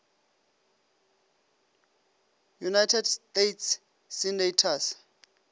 united states senators